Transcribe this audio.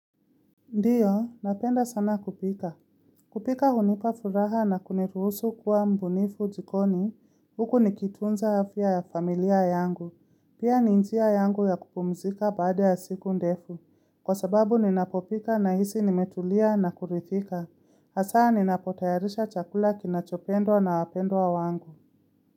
Ndiyo, napenda sana kupika. Kupika hunipa furaha na kuniruhusu kuwa mbunifu jikoni, huku nikitunza afya ya familia yangu. Pia ni njia yangu ya kupumzika baada ya siku ndefu. Kwa sababu ninapopika na hisi nimetulia na kurithika. Hasaa ninapotayarisha chakula kinachopendwa na wapendwa wa wangu.